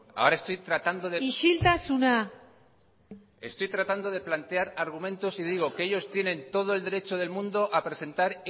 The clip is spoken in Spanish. ahora estoy tratando de isiltasuna estoy tratando de plantear argumentos y digo que ellos tienen todo el derecho del mundo a presentar